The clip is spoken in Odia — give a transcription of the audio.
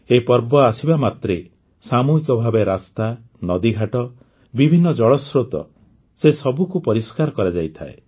ଏହି ପର୍ବ ଆସିବା ମାତ୍ରେ ସାମୂହିକ ଭାବେ ରାସ୍ତା ନଦୀ ଘାଟ ବିଭିନ୍ନ ଜଳ ସ୍ରୋତ ସବୁଗୁଡ଼ିକୁ ପରିଷ୍କାର କରାଯାଇଥାଏ